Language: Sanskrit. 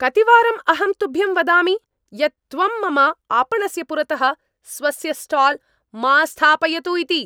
कतिवारम् अहं तुभ्यं वदामि यत् त्वं मम आपणस्य पुरतः स्वस्य स्टाल् मा स्थापयतु इति?